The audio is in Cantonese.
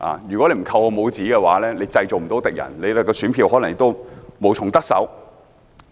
如果議員不扣我帽子，便不能製造敵人，選票亦可能無從得手。